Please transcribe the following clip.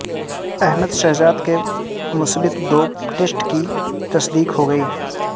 احمد شہزاد کے مثبت dope test کی تصدیق ہوگئی